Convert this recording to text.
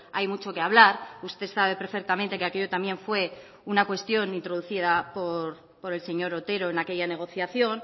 hay mucho que hablar usted sabe perfectamente que aquello también fue una cuestión introducida por el señor otero en aquella negociación